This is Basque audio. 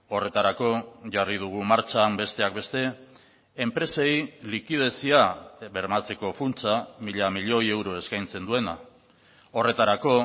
horretarako jarri dugu martxan besteak beste enpresei likidezia bermatzeko funtsa mila milioi euro eskaintzen duena horretarako